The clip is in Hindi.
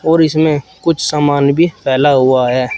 और इसमें कुछ सामान भी फैला हुआ है।